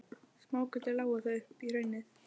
Smágötur lágu þó upp í hraunið.